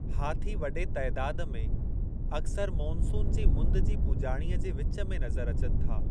हाथी वॾे तइदादु में अक्सरि मोनसून जी मुंद जी पुॼाणीअ जे विचु में नज़र अचनि था।